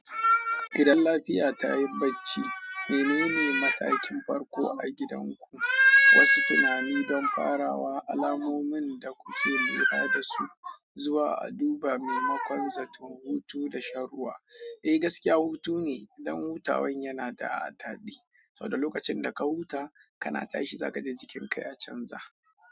Idan lafiya ta yi bacci. Menene matakin farko a gidanku? Wasu tunani don farawa, alamomin da kuke lura da su, zuwa duba maimakon zaton hutu da shan ruwa. Eh, gaskiya hutu ne, dan hutawan yana da adadi, saboda lokacin da ka huta kana tashi zagaje jikin ka ya canza.